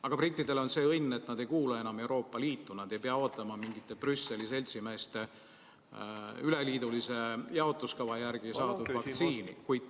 Aga brittidel on see õnn, et nad ei kuulu enam Euroopa Liitu, nad ei pea ootama mingite Brüsseli seltsimeeste üleliidulise jaotuskava järgi saadud vaktsiini.